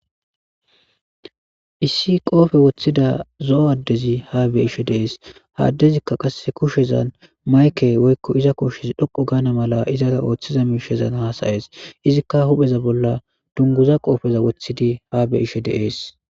Issi qoppe wothida zoo adezi ha beishshe dees ha adezika kusha mayikke woyikko iza kushshez dhoqu gana mala izara oththiza mishshazan hasaees izikka hupeza bola duniguza qoppeza woththidi ha beishshe dees